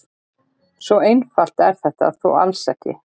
Svo einfalt er þetta þó alls ekki.